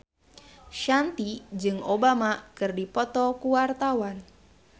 Shanti jeung Obama keur dipoto ku wartawan